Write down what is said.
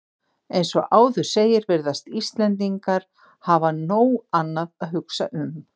Eins og áður segir virðast Íslendingar hafa nóg annað að hugsa um.